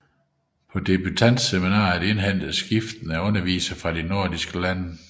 På debutantseminaret indhentes skiftende undervisere fra de nordiske lande